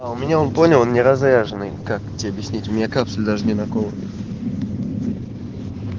а у меня он понял не разряженный как тебе объяснить дилакацию даже не находит